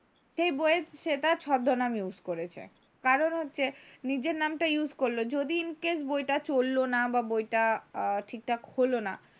সেই বইয়ে সে তার ছদ্মনাম use করেছে, কারণ হচ্ছে নিজের নামটা use করলো, যদি in case বইটা চলল না বা বইটা ঠিকঠাক হলো না,